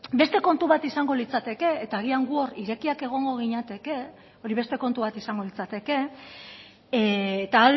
beste kontu bat izango litzateke eta agian gu hor irekiak egongo ginateke hori beste kontu bat izango litzateke eta